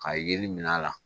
Ka yeli min k'a la